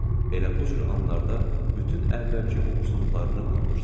Elə bu cür anlarda bütün əvvəlki uğursuzluqlarını unudursan.